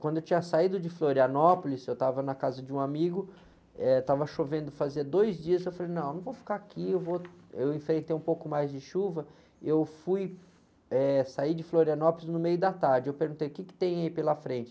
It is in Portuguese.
Quando eu tinha saído de Florianópolis, eu estava na casa de um amigo, eh, estava chovendo fazia dois dias, eu falei, não, não vou ficar aqui, eu vou, eu enfrentei um pouco mais de chuva, eu fui, eh, sair de Florianópolis no meio da tarde, eu perguntei, o quê que tem aí pela frente?